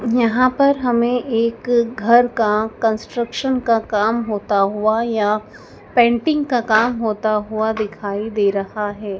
यहां पर हमें एक घर का कंस्ट्रक्शन का काम होता हुआ या पेंटिंग का काम होता हुआ दिखाई दे रहा है।